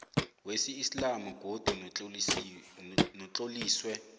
wesiislamu godu notloliswe